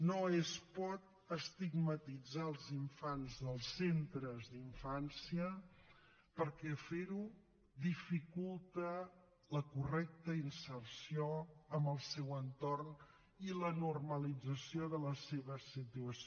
no es pot estigmatitzar els infants dels centres d’infància perquè fer ho dificulta la correcta inserció en el seu entorn i la normalització de la seva situació